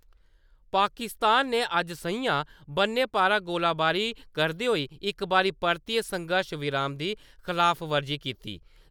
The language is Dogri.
पाकिस्तान ने अज्ज सं`ञा बन्ने पारा गोलीबारी करदे होई इक बारी परतियै संघर्श विराम दी खलाफवर्जी कीती।